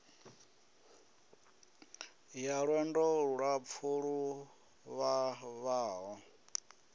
ya lwendo lulapfu lu vhavhaho